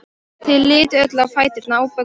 Þau litu öll á fæturna á Boggu.